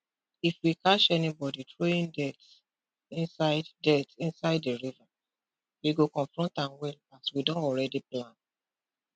if we catch anybody throwing dirt inside dirt inside the river we go confront am well as we don already plan